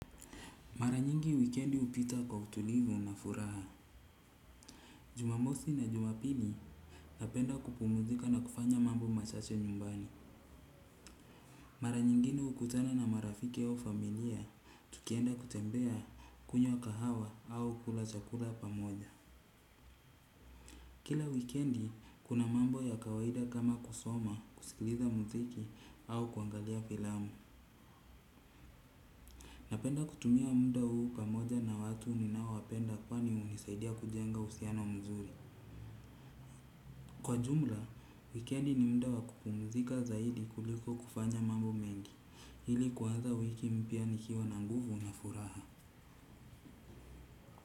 Mara nyingi wikendi hupita kwa utulivu na furaha. Jumamosi na jumapili napenda kupumzika na kufanya mambo machache nyumbani. Mara nyingine hukutana na marafiki au familia tukienda kutembea kunywa kahawa au kula chakula pamoja. Kila wikendi kuna mambo ya kawaida kama kusoma kusikiliza muziki au kuangalia filamu. Napenda kutumia muda huu pamoja na watu ninao wapenda kwani hunisaidia kujenga uhusiano mzuri. Kwa jumla, wikendi ni muda wa kupumzika zaidi kuliko kufanya mambo mengi. Ili kuanza wiki mpya nikiwa na nguvu na furaha.